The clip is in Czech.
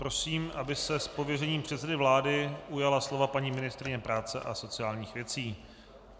Prosím, aby se z pověření předsedy vlády ujala slova paní ministryně práce a sociálních věcí.